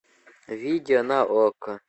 видео на окко